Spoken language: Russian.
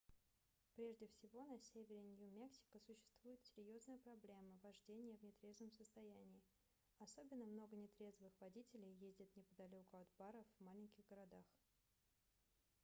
прежде всего на севере нью-мексико существует серьезная проблема вождения в нетрезвом состоянии особенно много нетрезвых водителей ездят неподалеку от баров в маленьких городах